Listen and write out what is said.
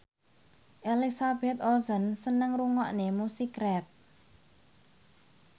Elizabeth Olsen seneng ngrungokne musik rap